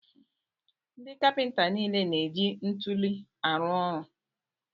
Ndị kapinta niile na-eji ntuli arụ ọrụ.